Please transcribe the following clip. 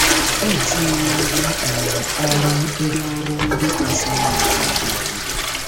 O tinyewo ngwá um ọrụ ndị ọrụ ndị kasị mma n'aka anyị.